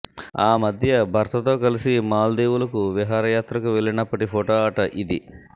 ఆ మధ్య భర్తతో కలిసి మాల్దీవులకు విహారయాత్రకు వెళ్లినప్పటి ఫొటో అట ఇది